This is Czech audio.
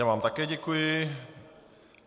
Já vám také děkuji.